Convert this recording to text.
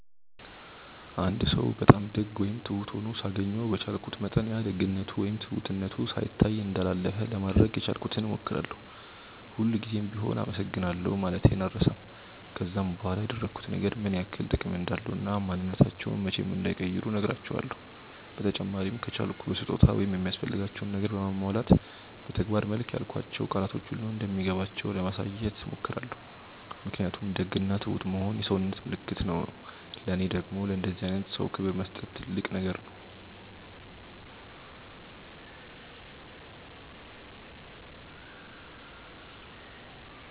አንድ ሰው በጣም ደግ ወይም ትሁት ሆኖ ሳገኘው በቻልኩት መጠን ያ ደግነቱ ወይም ትሁትነቱ ሳይታይ እንዳላለፈ ለማድረግ የቻልኩትን ሞክራለው፤ ሁል ጉዘም ቢሆም አመሰግናለሁ ማለቴን አልረሳም፤ ከዛም በኋላ ያደረጉት ነገር ምን ያክል ጥቅም እንዳለው እና ማንንነታቸውን መቼም እንዳይቀይሩ ነህራቸውለው፤ በተጨማሪም ከቻልኩ በስጦታ ወይም የሚያስፈልጋቸውን ነገር በማሟላት በተግባር መልክ ያልኳቸው ቃላቶች ሁሉ እንደሚገባቸው ለማሳየት ሞክራለው ምክንያቱም ደግ እና ትሁት መሆን የሰውነት ምልክት ነው ለኔ ደግም ለእንደዚህ አይነት ሰው ክብር መስጠት ትልቅ ነገር ነው።